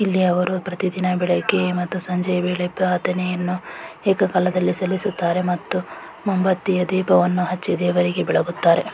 ಇಲ್ಲಿ ಅವರು ಪ್ರತಿದಿನ ಬೆಳಿಗ್ಗೆ ಮತ್ತು ಸಂಜೆಯಾ ವೇಳೆ ಪ್ರಾರ್ಥನೆಯನ್ನು ಏಕಕಾಲದಲ್ಲಿ ಸಲ್ಲಿಸುತ್ತಾರೆ ಮತ್ತು ಮೋಮ್ಬತ್ತಿಯ ದೀಪವನ್ನು ಹಚ್ಚಿ ದೇವರಿಗೆ ಬೆಳಗುತ್ತಾರೆ .